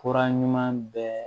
Fura ɲuman bɛɛ